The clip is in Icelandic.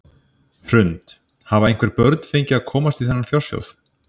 Hrund: Hafa einhver börn fengið að komast í þennan fjársjóð?